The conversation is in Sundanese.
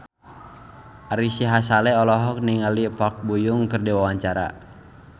Ari Sihasale olohok ningali Park Bo Yung keur diwawancara